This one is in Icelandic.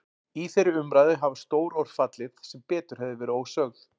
Í þeirri umræðu hafa stór orð fallið sem betur hefðu verið ósögð.